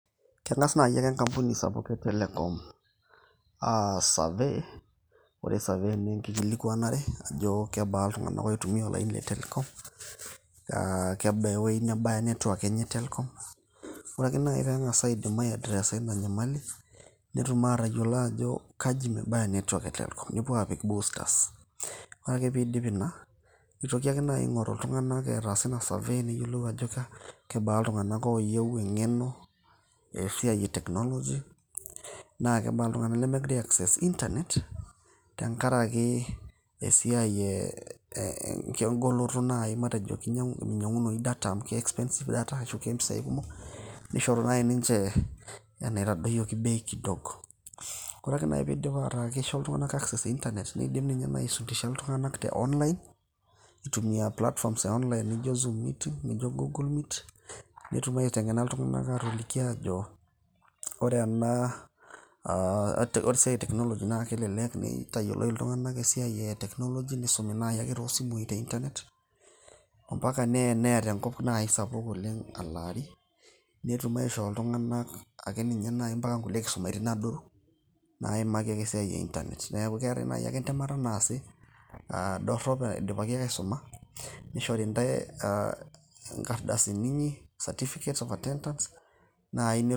Keng'as naai ake enkampuni sapuk e telecom aas survey, ore survey naa enkikilikuanare ajo kebaa iltung'anak oitumia olaini le telecom aa kebaa ewueji nebaya network enye, telecom ore ake naaji peyie eidip ai addrress ina nyamali, netum aatayiolo ajo kaji mebaya network e telecom, nepuo aapik boosters. Ore ake peedip ina nitoki ake naai aing'oru iltung'anak ataasa ina survey, neyiolou aajo kebaa iltung'anak ooyieu eng'eno esiai e technology, naa kebaa iltung'anak lemegira ai access intanet teng'araki esiai eeh, engoloto naai matejo miny'iang'unoyu data amu ke expensive data ashu ke impisai kumok, nishoru naai ninche anaitadoyioki bei kidogo. Ore ake naai pee idip aataa keishoo iltung'anak access e intanet, niidim toi n inye aisundisha iltung'anak. Keeta ake naai enkisumaitin adoru ,naaimaki esiai e intanet, neeku keetai naai ake entemata naasi, dorrop eidipaki ake naai asuma, nishori intae inkardasini inyi certificate of attendance.